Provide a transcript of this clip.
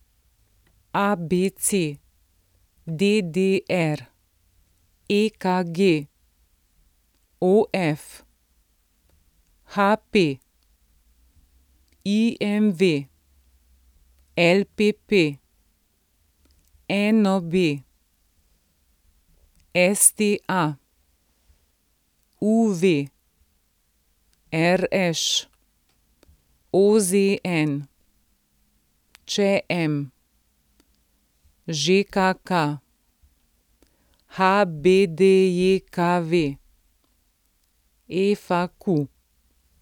ABC, DDR, EKG, OF, HP, IMV, LPP, NOB, STA, UV, RŠ, OZN, ČM, ŽKK, HBDJKV, FAQ.